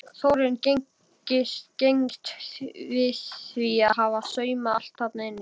Þórunn gengst við því að hafa saumað allt þarna inni.